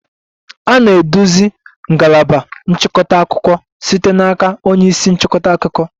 A na-eduzi ngalaba nchịkọta akụkọ site n'aka onye isi nchịkọta akụkọ.